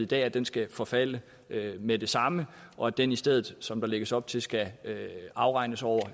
det at den skal forfalde med det samme og at den i stedet som der lægges op til skal afregnes over